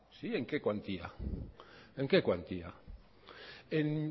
sí en qué cuantía en qué cuantía en